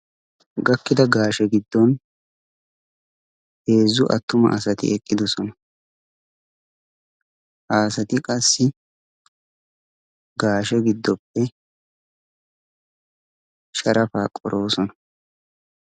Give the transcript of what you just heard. gakkida gaashe giddon heezzu attuma asati eqqidosona. asati qassi gaashe giddoppe sharafaa qoroosona.